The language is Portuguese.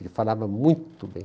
Ele falava muito bem.